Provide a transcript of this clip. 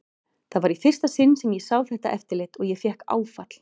Það var í fyrsta sinn sem ég sá þetta eftirlit og ég fékk áfall.